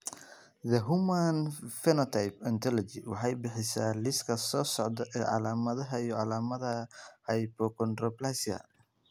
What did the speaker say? The Human Phenotype Ontology waxay bixisaa liiska soo socda ee calaamadaha iyo calaamadaha Hypochondroplasia.